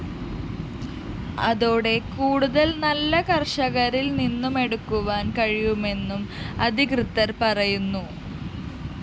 അതോടെ കൂടുതല്‍ നെല്ല് കര്‍ഷകരില്‍നിന്നുമെടുക്കുവാന്‍ കഴിയുമെന്നും അധികൃതര്‍ പറയുന്നു